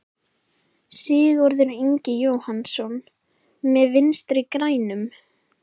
Sigurður Ingi Jóhannsson: Með Vinstri-grænum?